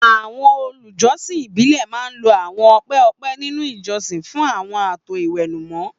àwọn olùjọsìn ìbílẹ̀ máa ń lo àwọn ọ̀pẹ ọ̀pẹ nínú ìjọsìn fún àwọn ààtò ìwẹ̀nùmọ́.